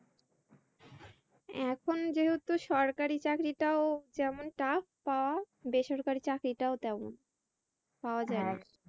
এখন যেহেতু সরকারি চাকরিটাও যেমন trap পাওয়াটা বেসরকারি চাকরিটা ও তেমন পাওয়া যায়না।